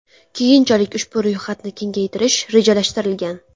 Keyinchalik ushbu ro‘yxatni kengaytirish rejalashtirilgan.